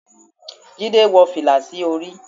jide wó filá sí orí